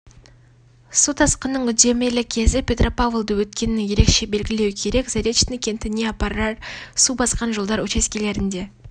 су тасқынның үдемелі кезі петропавлды өткенің ерекше белгілеу керек заречный кентіне апарар су басқан жолдар учаскелерінде